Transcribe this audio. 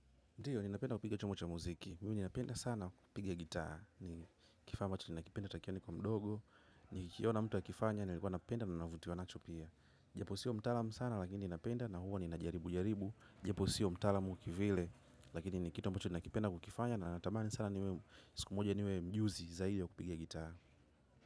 Ndio, ninapenda kupiga chombo cha muziki. Mimi ninapenda sana kupiga gitaa. Ni kifaa ambacho ninakipenda tangia nikiwa mdogo. Ni kikiona mtu akifanya, nilikuwa napenda na navutiwa nacho pia. Japo siyo mtaalamu sana, lakini ninapenda na huwa ninajaribu jaribu. Japo siyo mtaalamu kivile. Lakini ni kitu ambacho ninakipenda kukifanya. Na natamani sana siku moja niwe mjuzi zaidi wa kupige gitaa.